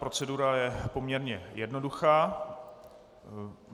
Procedura je poměrně jednoduchá.